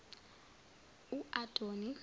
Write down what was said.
uadoni